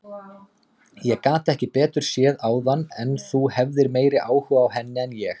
Ég gat ekki betur séð áðan en þú hefðir meiri áhuga á henni en ég.